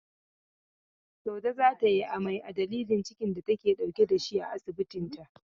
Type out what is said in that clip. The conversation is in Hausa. Saude za ta yi amai a dalilin cikin da take dauke da shi a asibita.